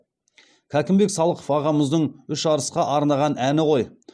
кәкімбек салықов ағамыздың үш арысқа арнаған әні ғой